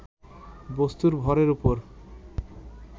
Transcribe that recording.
বস্তুর ভরের উপর